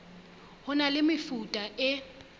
ho na le mefuta e